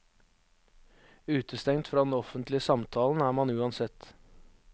Utestengt fra den offentlige samtalen er man uansett.